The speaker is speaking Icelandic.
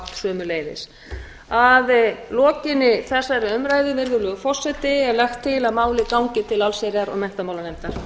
sömuleiðis að lokinni þessari umræðu virðulegur flestir er lagt til að málið gangi til allsherjar og menntamálanefndar